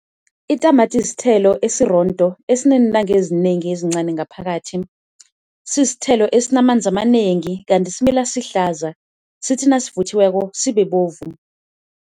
Itamati sithelo esirondo esineentanga ezinengi ezincani ngaphakathi. Sisithelo esinamanzi amanengi kanti simila sihlaza sithi nasivuthiweko sibe bovu.